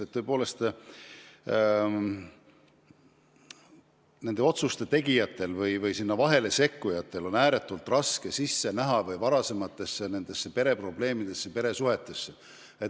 Tõepoolest, nende otsuste tegijatel ja teistel kõrvalseisjatel on ääretult raske pereprobleemidesse, peresuhetesse sisse näha.